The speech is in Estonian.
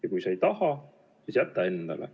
Ja kui sa ei taha, siis jätta endale.